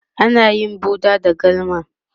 ana yin buɗa da galma